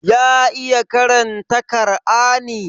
Ya iya karanta Kar'ani?